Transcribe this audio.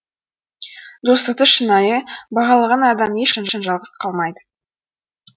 достықты шынайы бағалаған адам ешқашан жалғыз қалмайды